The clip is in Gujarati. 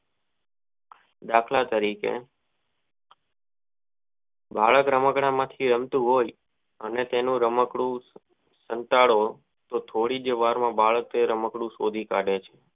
દાખલ તરીકે રે રમકડાં માંથી હાલતું હોય અને તેઉ રમકદુ કંટાળો કે થોડીક જ વાર માં એ બાળક એ રાંકડું શોધી કાડે છે.